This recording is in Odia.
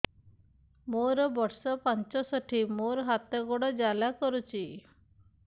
ମୋର ବର୍ଷ ପଞ୍ଚଷଠି ମୋର ହାତ ଗୋଡ଼ ଜାଲା କରୁଛି